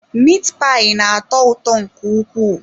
Mit payi na-atọ ụtọ nke ukwuu.